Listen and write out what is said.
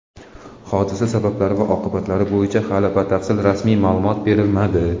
Hodisa sabablari va oqibatlari bo‘yicha hali batafsil rasmiy ma’lumot berilmadi.